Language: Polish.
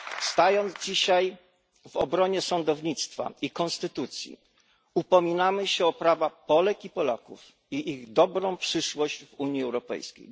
Stając dzisiaj w obronie sądownictwa i konstytucji, upominamy się o prawa Polek i Polaków, i ich dobrą przyszłość w Unii Europejskiej.